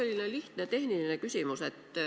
Mul selline lihtne tehniline küsimus.